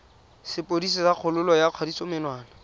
sepodisi sa kgololo ya kgatisomenwa